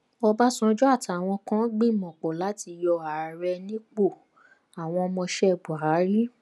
ọbásanjọ́ àtàwọn kan ń gbìmọ pọ láti yọ ààrẹ nípò àwọn ọmọọṣẹ buhari